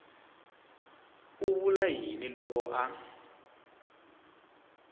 u vula yini loko a